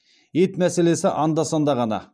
ет мәселесі анда санда ғана